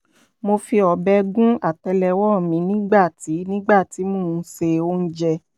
mo fi ọ̀bẹ gún àtẹ́lẹwọ́ mi nígbà tí nígbà tí mò ń se oúnjẹ